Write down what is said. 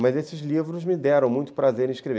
Mas esses livros me deram muito prazer em escrever.